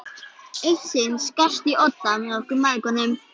Eitt sinn skarst í odda með okkur mæðgunum.